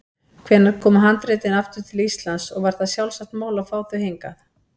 Hvenær komu handritin aftur til Íslands og var það sjálfsagt mál að fá þau hingað?